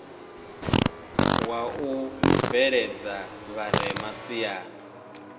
wa u bveledza vharema siani